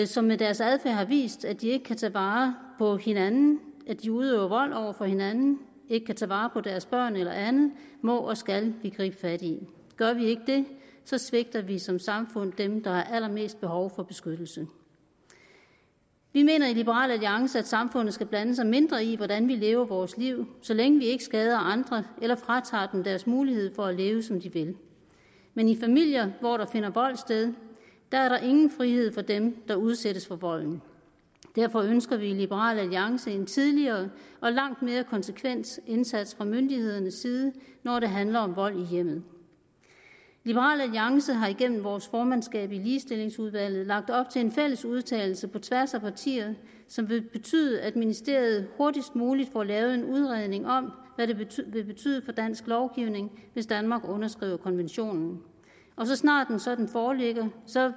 som med deres adfærd har vist at de ikke kan tage vare på hinanden at de udøver vold over for hinanden ikke kan tage vare på deres børn eller andet må og skal vi gribe fat i gør vi ikke det svigter vi som samfund dem der har allermest behov for beskyttelse vi mener i liberal alliance at samfundet skal blande sig mindre i hvordan vi lever vores liv så længe vi ikke skader andre eller fratager dem deres mulighed for at leve som de vil men i familier hvor der finder vold sted er der ingen frihed for dem der udsættes for volden og derfor ønsker vi i liberal alliance en tidligere og langt mere konsekvent indsats fra myndighedernes side når det handler om vold i hjemmet liberal alliance har igennem vores formandskab i ligestillingsudvalget lagt op til en fælles udtalelse på tværs af partier som vil betyde at ministeriet hurtigst muligt får lavet en udredning om hvad det vil betyde for dansk lovgivning hvis danmark underskriver konventionen og så snart en sådan foreligger